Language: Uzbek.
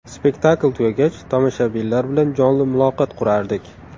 Spektakl tugagach tomoshabinlar bilan jonli muloqot qurardik.